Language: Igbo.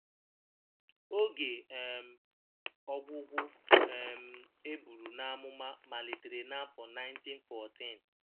“Oge um ọgwụgwụ” um e buru n’amụma malitere n’afọ 1914.